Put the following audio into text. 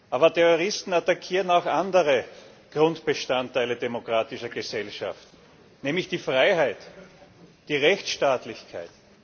Aber Terroristen attackieren auch andere Grundbestandteile demokratischer Gesellschaften, nämlich die Freiheit, die Rechtsstaatlichkeit.